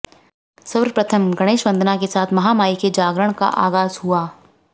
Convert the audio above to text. सर्वप्रथम गणेश वंदना के साथ महामाई के जागरण का आगाज हुआ